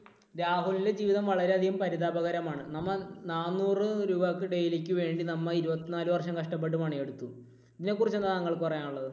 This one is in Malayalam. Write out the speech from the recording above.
രാഹുലിന്റെ ജീവിതം വളരെയധികം പരിതാപകരമാണ്. നമ്മൾ ഈ നാനൂറു രൂപയ്ക്ക് daily ക്ക് വേണ്ടി നമ്മൾ ഇരുപത്തിനാലു വർഷം കഷ്ടപ്പെട്ട് പണിയെടുത്തു. ഇതിനെക്കുറിച്ച് എന്താണ് താങ്കൾക്ക് പറയാനുള്ളത്?